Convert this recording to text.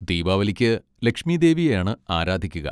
ദീപാവലിക്ക് ലക്ഷ്മീദേവിയെയാണ് ആരാധിക്കുക.